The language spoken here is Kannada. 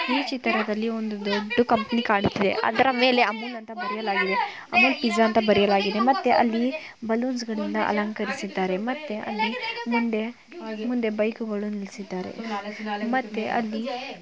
ಈ ಚಿತ್ರದಲ್ಲಿ ಒಂದು ದೊಡ್ಡ ಕಂಪನಿ ಕಾಣುತ್ತಾ ಇದೆ ಅದರ ಮೇಲೆ ಅಮೂಲ್ಯ ಎಂದು ಬರೆಯಲಾಗಿದೆ ಪಿಜಾ ಅಂತಾ ಬರೆಯಲಾಗಿದೆ. ಅಲ್ಲಿ ಬಲೂನ್ಸ್‌ಗಳನ್ನು ಅಲಂಕರಿಸಿದ್ದಾರೆ ಮತ್ತೆ ಅಲ್ಲಿ ಮುಂದೆ ಬೈಕ್‌ಗಳು ನಿಲ್ಲಿಸಿದ್ದಾರೆ ಮತ್ತೆ ಅಲ್ಲಿ--